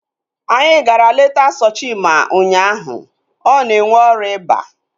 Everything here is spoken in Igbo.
Anyị gara leta Sochima ụnyaahụ. Ọ na-enwe ọrịa iba